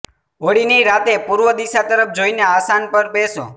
હોળીની રાતે પૂર્વ દિશા તરફ જોઇને આસાન પર બેસો